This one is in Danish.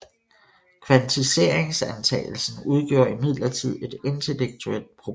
Kvantiseringsantagelsen udgjorde imidlertid et intellektuelt problem